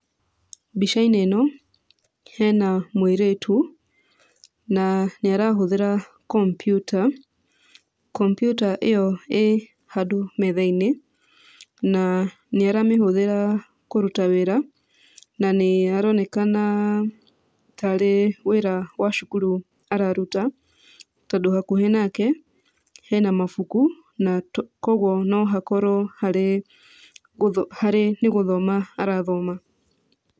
Mbica-inĩ ĩno, hena mũirĩtu, na nĩ arahũthĩra kompiuta. Kompiuta ĩyo ĩĩ handũ metha-inĩ, na nĩ aramĩhũthĩra kũruta wĩra. Na nĩ aronekana tarĩ wĩra wa cukuru araruta, tondũ hakuhĩ nake, hena mabuku, na kũguo no hakorwo harĩ harĩ nĩ gũthoma arathoma.